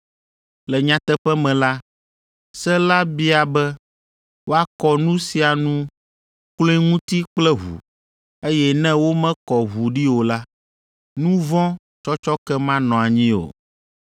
Le nyateƒe me la, se la bia be woakɔ nu sia nu kloe ŋuti kple ʋu, eye ne womekɔ ʋu ɖi o la, nu vɔ̃ tsɔtsɔke manɔ anyi o.